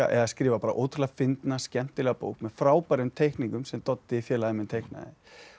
að skrifa ótrúlega fyndna skemmtilega bók með frábærum teikningum sem Doddi félagi minn teiknaði og